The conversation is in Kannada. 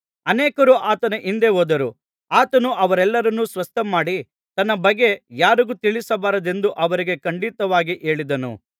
ಅನೇಕರು ಆತನ ಹಿಂದೆ ಹೋದರು ಆತನು ಅವರೆಲ್ಲರನ್ನು ಸ್ವಸ್ಥಮಾಡಿ ತನ್ನ ಬಗ್ಗೆ ಯಾರಿಗೂ ತಿಳಿಸಬಾರದೆಂದು ಅವರಿಗೆ ಖಂಡಿತವಾಗಿ ಹೇಳಿದನು